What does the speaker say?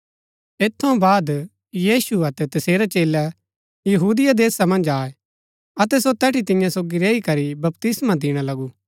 ऐत थऊँ बाद यीशु अतै तसेरै चेलै यहूदिया देशा मन्ज आये अतै सो तैठी तियां सोगी रैई करी बपतिस्मा दिणा लगु